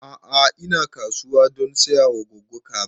A'a ina kasuwa don saya wa goggo kaza